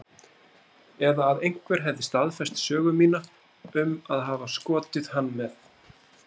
Eða að einhver hefði staðfest sögu mína um að hafa skotið hann með